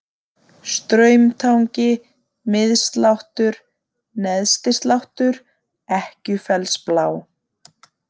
Straumtangi, Mið-Sláttur, Neðsti-Sláttur, Ekkjufellsblá